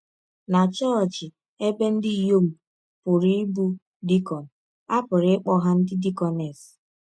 Na chọọchị ebe ndị inyọm pụrụ ịbụ dikọn, a pụrụ ịkpọ ha ndị dikọnes.